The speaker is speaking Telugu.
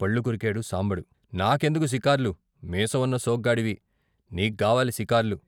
పళ్ళు కొరికాడు సాంబడు. "నా కెందుకు సికార్లు, మీసవున్న సోగ్గాడివి నీగ్గావాలి సికార్లు."